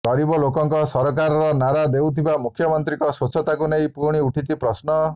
ଗରିବ ଲୋକଙ୍କ ସରକାରର ନାରା ଦେଉଥିବା ମୁଖ୍ୟମନ୍ତ୍ରୀଙ୍କ ସ୍ୱଚ୍ଛତାକୁ ନେଇ ପୁଣି ଉଠିଛି ପ୍ରଶ୍ନ